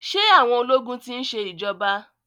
Ṣé àwọn ológun ti ń ṣe ìjọba.